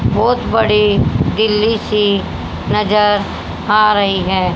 बहोत बड़े दिल्ली से नज़र आ रही है।